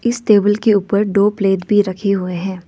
इस टेबल के ऊपर दो प्लेट भी रखे हुए हैं।